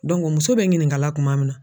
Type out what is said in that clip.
muso bɛ ɲininkala kuma min na